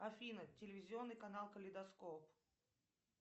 афина телевизионный канал калейдоскоп